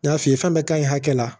N y'a f'i ye fɛn bɛɛ ka ɲi hakɛ la